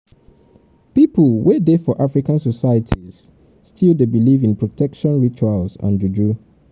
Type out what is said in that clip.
um pipo wey dey for african societies still dey believe in protection rituals and juju